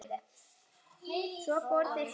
Svo fóru þeir heim.